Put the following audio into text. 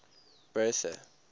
bertha